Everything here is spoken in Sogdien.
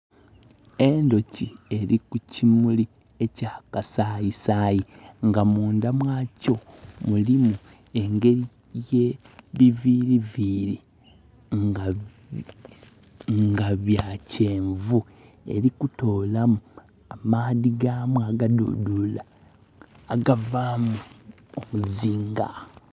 Endhoki eli kukimuli ekya kasaayi saayi, nga mundha mwakyo mulimu engeri ye biviiri viiri nga bya kyenvu. Eli kutoolamu amaadhi gaamu agadhudhula agavaamu omuzinga.